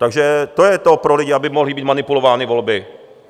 Takže to je to pro lidi, aby mohly být manipulovány volby?